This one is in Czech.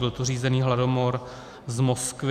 Byl to řízený hladomor z Moskvy.